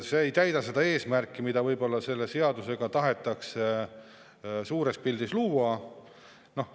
See ei täida seda eesmärki, mida võib-olla selle seadusega tahetakse suures pildis.